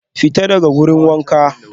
Fita daga wurin wanka